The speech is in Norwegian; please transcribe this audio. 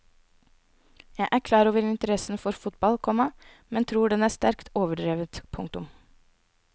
Jeg er klar over interessen for fotball, komma men tror den er sterkt overdrevet. punktum